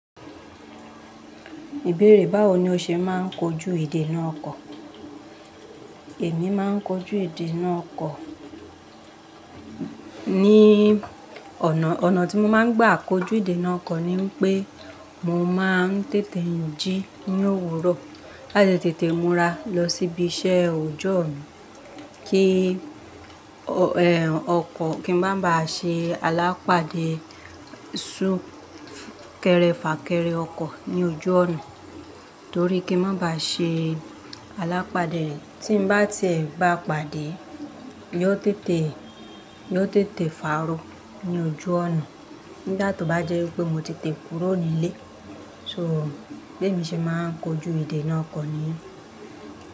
Ìbéèrè báwo ni o ṣe máa ń kojú èdè náà kọ̀? Èmi máa ń kojú èdè náà kọ̀ ní ọ̀nà, ọ̀nà tí mo máa ń gbà kojú idena oko ni pé mo máa ń tètè n jí ní òwúrọ̀, láti tètè múra lọ síbi iṣẹ́ ojú mi kí ẹ, ọkọ̀ kí n má ba ṣe alápàdé sún kẹrẹ fà kẹrẹ ọkọ̀ ní ojú ọ̀nà, torí kí n má ba ṣe alápàdé, tí n bá ti e bá pàdé, yóò tètè, yóò tètè fàárọ ní ojú ọ̀nà. Nigbà tó bá jẹ́ pé mo ti tẹ kúrò ní ilé, so bí èmi ṣe máa ń kojú idè náà okọ́ ni yen.